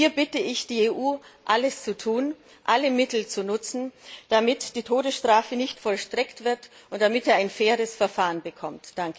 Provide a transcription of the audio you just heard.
Hier bitte ich die EU, alles zu tun und alle Mittel zu nutzen, damit die Todesstrafe nicht vollstreckt wird und er ein faires Verfahren bekommt!